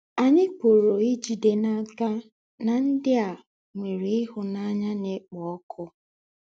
Ányị̀ pụ̀rù ìjidé n’ákà na ndị̀ à nwèrè ìhù̀náńyà na-ékpọ̀ ọ̀kụ́.